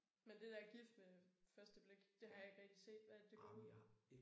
Men det der gift med første blik det har jeg ikke rigtig set hvad er det det går ud på?